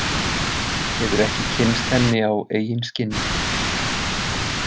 Hefur ekki kynnst henni á eigin skinni.